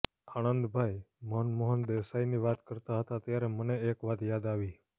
આણંદભાઈ મનમોહન દેસાઈની વાત કરતા હતા ત્યારે મને એક વાત યાદ આવી